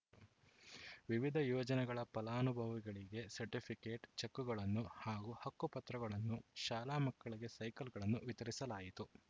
ವಿವಿಧ ಯೋಜನೆಗಳ ಫಲಾನುಭವಿಗಳಿಗೆ ಸರ್ಟಿಫಿಕೇಟ್‌ ಚೆಕ್‌ಗಳನ್ನು ಹಾಗೂ ಹಕ್ಕು ಪತ್ರಗಳನ್ನು ಶಾಲಾ ಮಕ್ಕಳಿಗೆ ಸೈಕಲ್‌ಗಳನ್ನು ವಿತರಿಸಲಾಯಿತು